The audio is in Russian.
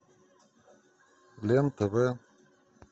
лен тв